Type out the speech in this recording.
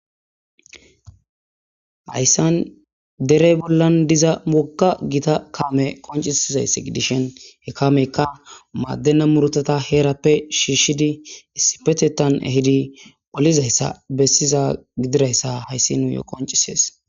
Hayssan dere bolla diza wogga,gita kaame qonccisizayssi gidishin he kaameykka maadena muurutata heerappe shiishidi issipetethan ehidi olizayssa bessiza gidizayssa hayssi qoncciseesi.